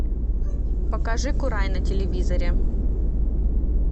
покажи курай на телевизоре